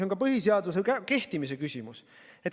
See on ka põhiseaduse kehtimise küsimus.